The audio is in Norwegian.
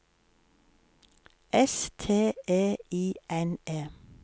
S T E I N E